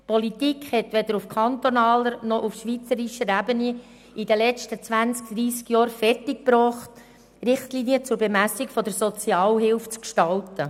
Die Politik hat es weder auf kantonaler noch auf schweizerischer Ebene in den vergangenen 20 bis 30 Jahren fertig gebracht, Richtlinien für die Bemessung der Sozialhilfe zu gestalten.